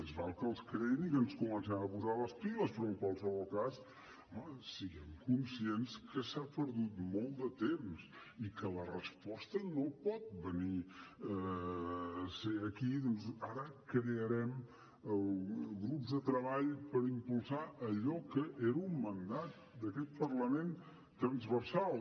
més val que els creïn i que ens comencem a posar les piles però en qualsevol cas home siguem conscients que s’ha perdut molt de temps i que la resposta no pot ser aquí ara crearem grups de treball per impulsar allò que era un mandat d’aquest parlament transversal